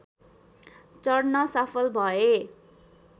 चढ्न सफल भए।